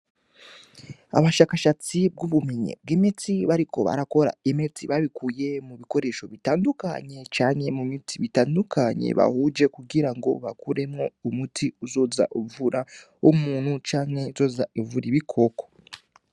Abashakashatsi bw'ubumenyi bw'imiti bariko barakora imiti babikuye mu bikoresho bitandukanye canke mu miti itandukanye bahuje kugira ngo bakoremwo umuti uzoza uvura umuntu canke uzoza uvura ibikoko.